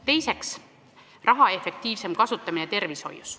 Teiseks, tervishoius raha efektiivsem kasutamine.